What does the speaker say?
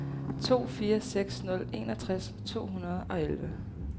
to fire seks nul enogtres to hundrede og elleve